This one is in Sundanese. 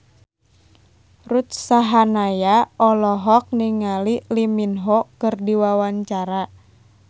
Ruth Sahanaya olohok ningali Lee Min Ho keur diwawancara